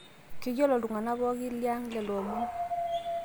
keyiolo ilyunganak pooko liang lelo omon